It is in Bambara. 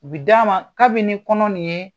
U bi d'a ma kabini kɔnɔ nin ye